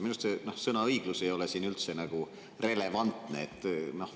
Minu arust sõna "õiglus" ei ole üldse siin relevantne.